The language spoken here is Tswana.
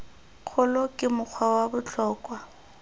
kgolo ke mokgwa wa botlhokwa